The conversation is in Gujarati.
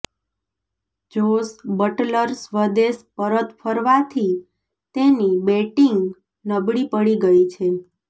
જોસ બટલર સ્વદેશ પરત ફરવાથી તેની બેટિંગ નબળી પડી ગઈ છે